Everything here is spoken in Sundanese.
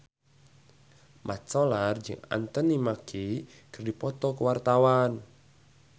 Mat Solar jeung Anthony Mackie keur dipoto ku wartawan